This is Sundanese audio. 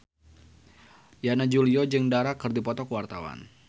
Yana Julio jeung Dara keur dipoto ku wartawan